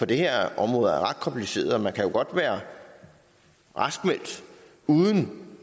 det her område er ret kompliceret man kan godt være raskmeldt uden